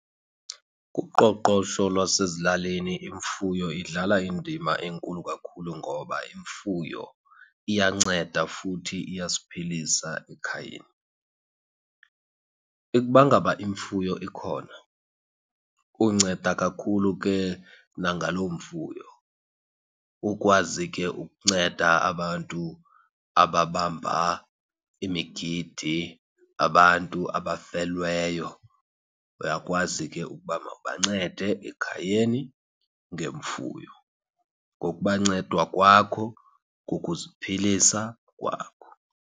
Kuqoqosho lwasezilalini imfuyo idlala indima enkulu kakhulu, ngoba imfuyo iyanceda futhi iyasiphilisa ekhayeni. Ukuba ngaba imfuyo ikhona, unceda kakhulu ke nangaloo mfuyo. Ukwazi ke ukunceda abantu ababamba imigidi, abantu abafelweyo, uyakwazi ke ukuba mawubancede ekhayeni ngemfuyo. Ngokubanceda kwakho kukuziphilisa kwakho.